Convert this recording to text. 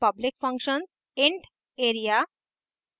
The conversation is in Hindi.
public functions int area int;